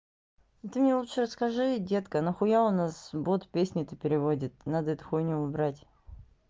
ты мне лучше расскажи детка нахуя у нас бот песни-то переводит надо эту хуйню убрать